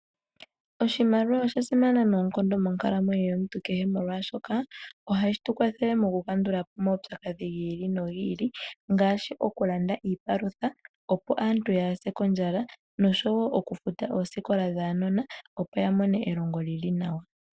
Oshimaliwa osha simana noonkondo monkalamweyo yomuntu kehe molwashoka ohashi tu kwathele mokukandulapo omaupyakadhi gi ili nogi ili, ngaashi okulanda iipalutha opo aantu yaase kondjala noshowo okufuta oosikola dhaanona opo ya mone elongo li li nawa.